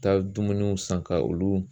Taa dumuniw san ka olu